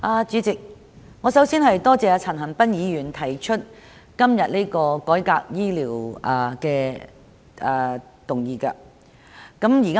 主席，我首先感謝陳恒鑌議員今天提出這項有關醫療改革的議案。